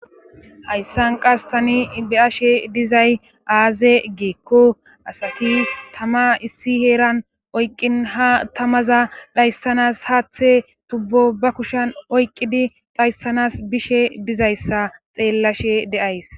Hayssan qas tani be7ashe dizay aaze geekko asati tama issi heeran oyqqin ha tamaza dhayssanas haathe tubbo ba kushan oyqqidi dhayssanas bishe dizayssa xeellashe deays.